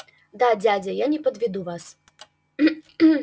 да дядя я не подведу вас